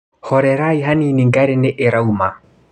Horerai hanini ngari nĩ irauma.